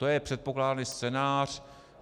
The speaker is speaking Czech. To je předpokládaný scénář.